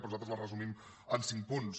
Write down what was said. però nosaltres les resumim en cinc punts